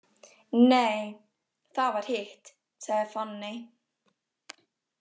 Nei, það var hitt, sagði Fanney.